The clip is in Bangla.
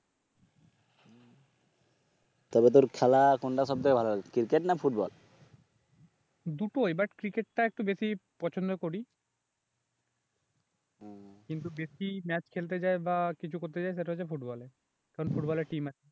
তবে তোর খেলা কোনটা সব থেকে বেশি ভালো লাগে ক্রিকেট না ফুটবল, দুটোই বাট ক্রিকেট টা একটু বেশি পছন্দ করি, কিন্তু বেশি ম্যাচ খেলতে যাই বা কিছু করতে যাই সেটা হচ্ছে ফুটবল এ কারণ ফুটবল এ টীম আছে